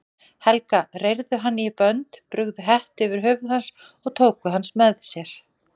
Helga, reyrðu hann í bönd, brugðu hettu yfir höfuð hans og tóku hann með sér.